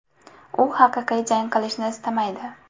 U haqiqiy jang qilishni istamaydi.